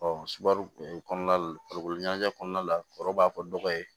subaro kɔnɔna farikolo ɲɛnajɛ kɔnɔna la foro b'a fɔ dɔgɔ ye